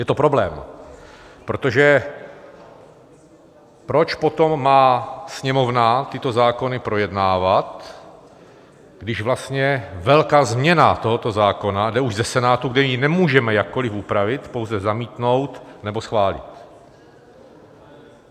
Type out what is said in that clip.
Je to problém, protože proč potom má Sněmovna tyto zákony projednávat, když vlastně velká změna tohoto zákona jde už ze Senátu, kde ji nemůžeme jakkoliv upravit, pouze zamítnout, nebo schválit?